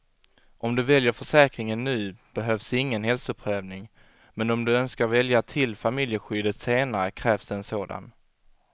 Om du väljer försäkringen nu behövs ingen hälsoprövning, men om du önskar välja till familjeskyddet senare krävs det en sådan.